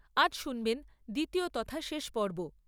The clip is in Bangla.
আজ শুনবেন দ্বিতীয় তথা শেষ পর্ব।